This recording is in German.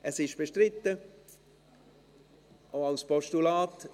Es ist bestritten, auch als Postulat.